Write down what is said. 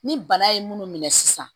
Ni bana ye munnu minɛ sisan